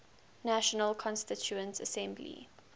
national constituent assembly